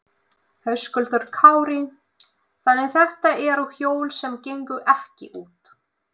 Höskuldur Kári: Þannig þetta eru hjól sem gengu ekki út?